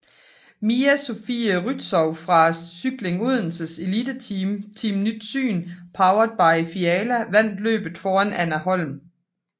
Mia Sofie Rützou fra Cykling Odenses eliteteam Team Nyt Syn powered by Fialla vandt løbet foran Anne Holm fra